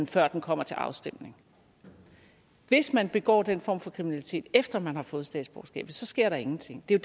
før det kommer til afstemning hvis man begår den form for kriminalitet efter at man har fået statsborgerskabet så sker der ingenting det er